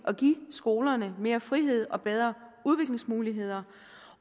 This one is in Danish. at give skolerne mere frihed og bedre udviklingsmuligheder